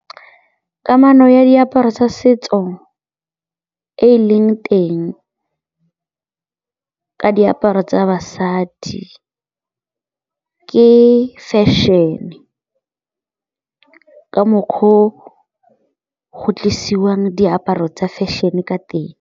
Kamano ya diaparo tsa setso e e leng teng ka diaparo tsa basadi ke fešene, ka mokgwa o go tlisiwang diaparo tsa fashion-e ka teng.